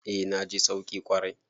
Eh na ji sauki kwarai.